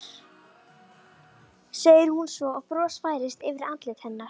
segir hún svo og bros færist yfir andlit hennar.